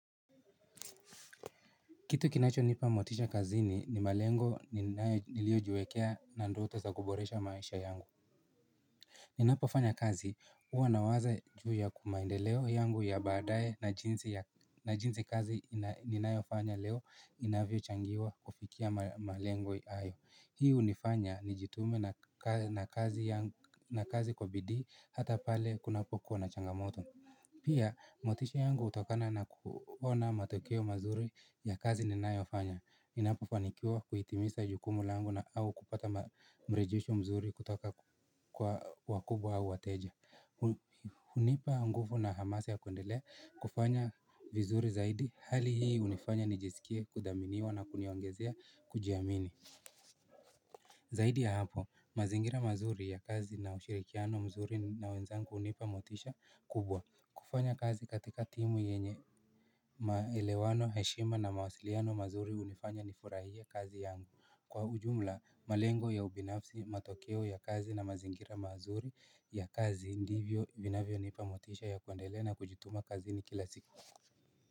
Kitu kinachonipa motisha kazini ni malengo niliojiekea na ndoto za kuboresha maisha yangu Ninapofanya kazi huwa nawaza juu ya ku maendeleo yangu ya baadae na jinsi kazi ninayofanya leo inavyochangiwa kufikia malengo hayo Hii hunifanya nijitume na kazi kwa bidii hata pale kunapokuwa na changamoto Pia, motisha yangu hutokana na kuona matokeo mazuri ya kazi ninayofanya ninapofanikiwa kuitimisa jukumu langu na au kupata mrejesho mzuri kutoka kwa wakubwa au wateja hunipa nguvu na hamasa ya kuendelea kufanya vizuri zaidi Hali hii hunifanya nijisikie kuthaminiwa na kuniongezea kujiamini Zaidi ya hapo, mazingira mazuri ya kazi na ushirikiano mzuri na wenzangu hunipa motisha kubwa kufanya kazi katika timu yenye maelewano heshima na mawasiliano mazuri hunifanya nifurahie kazi yangu kwa ujumla malengo ya ubinafsi matokeo ya kazi na mazingira mazuri ya kazi ndivyo vinavyonipa motisha ya kuendelea na kujituma kazini kila siku.